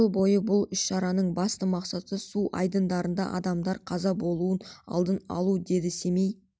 жыл болды бұл іс-шараның басты мақсаты су айдындарында адамдардың қаза болуын алдын алу деді семей